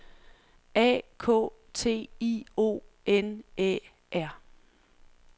A K T I O N Æ R